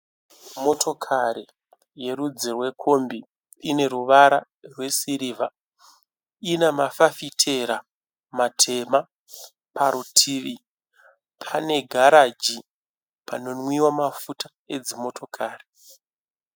Motokari yerudzi rwekombi ine ruvara rwesirivha. Ina mafafitera matema. Parutivi pane pane garaji panonwiwa mafuta emotokari.